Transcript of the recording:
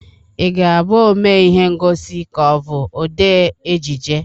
Ị ga-abụ omee ihe ngosi ka ọ bụ odee ejije?